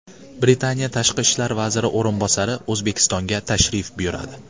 Britaniya tashqi ishlar vaziri o‘rinbosari O‘zbekistonga tashrif buyuradi.